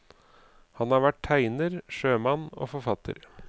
Han har vært tegner, sjømann og forfatter.